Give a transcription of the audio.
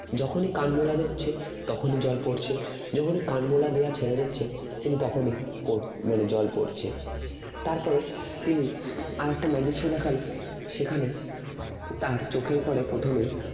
যখনই কানমলা দিচ্ছে তখনই জল পড়ছে যখনই কানমলা দেওয়া ছেড়ে দিচ্ছে তিনি তখনই পড় মানে জল পড়ছে তারপরে তিনি আরেকটা magic show দেখালো সেখানে তার চোখে পরে প্রথমে